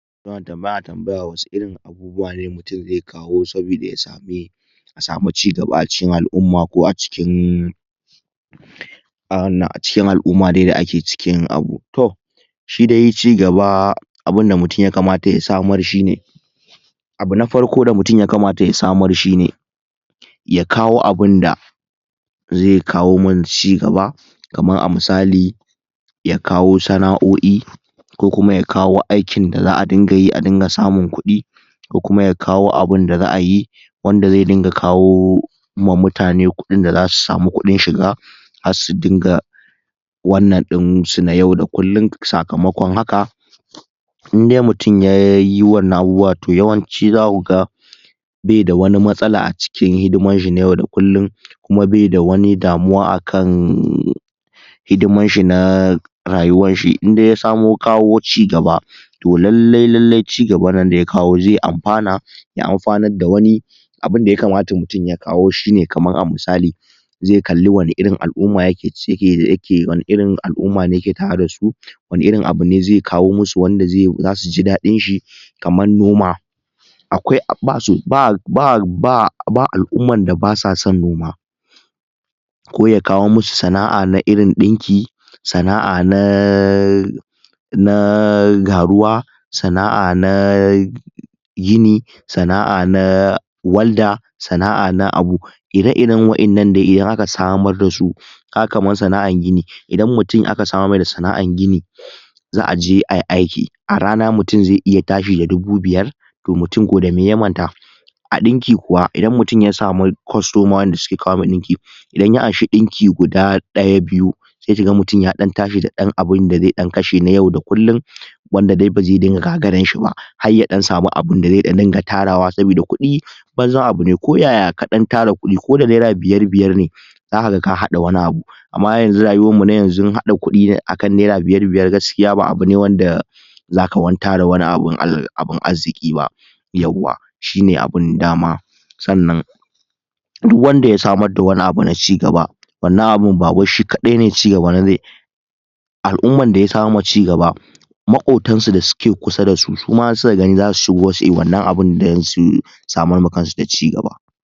tambaya wasu irin abubuwa ne mutum zai kawo sabida ya sami a samu cigaba a cikin al'umma ko a cikin wannan a cikin al'ima dai da ake cikin abu to shi dai cigaba abunda mutum ya kamata ya samar shine abu na farko da mutum ya kamata ya samar shine ya kawo abunda zai kawo mana cigaba kamar a misali ya kawo sana'o'i ko kuma ya kawo aikin da za'a dinga yi a dinga samun kuɗi ko kuma ya kawo abunda za'ayi wanda zai dinga kawo ma mutane kuɗin da za su samu kudin shiga har su dinga wannan ɗin su na yau da kullum sakamakon haka indai mutum yayi wannan abubuwa to yawanci zakuga baida wani matsala a cikin hidiman shi na yau da kullun kuma baida wani damuwa akan hidiman shi na rayuwar shi indai ya samo kawo cigaba to lallai lallai cigaban nan daya kawo zai amfana ya amfanar da wani abunda mutum ya kamata ya kawo kamar a misali zai kalli wani irin al'umma yake wan irin al'umma ne yake tare da su wani irin abune zai kawo masu wanda zai zasuji daɗin shi kamar noma akwai ba al'umman da basa son noma ko ya kawo masu sana'a na irin ɗinki sana'a na na garuwa sana'a na gini sana'a na walda sana'a na abu ire iren wa'innan nan dai idan aka samar dasu kaga kamar sana'an gini idan mutum aka samar mai da sana'ar gini za'aje ayi aiki a rana mutum zai iya tashi da dubu biyar to mutum ko da me ya manta a ɗinki kuwa idan mutum ya samu kostoma da suke kawo mai ɗinki idan ya anshi dinki guda daya biyu sai ki ga mutum ya ɗan tashi da abunda zai ɗan kashe na yau da kullun wanda dai bazai dinga gagaran shi ba har ya samu abinda zai dan dinga tarawa sabida kuɗi banzan abune ko yaya kaɗan tara kuɗi ko da naira biyar biyar ne za kaga ka haɗa wani abu amma yanazu rayuwan mu na yanzun haɗa kuɗi akan naira biyar biyar gaskiya ba abu ne wanda zaka wani tara abun abun arziƙi ba yauwa shine abun dama sannan duk wanda ya samar da wani abu na cigaba wannan abun ba wai shi kaɗai ne cigaba ne zai al'umman daya samar ma cigaba maƙotan su da suke kusa da su suma in suka gani zasu shigo suyi wannan abun don su samar ma kansu da ci gaba